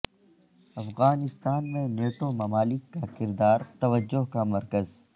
افغانستان میں نیٹو ممالک کا کردار توجہ کا مرکز